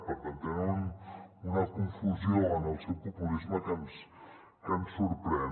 per tant tenen una confusió en el seu populisme que ens sor·prèn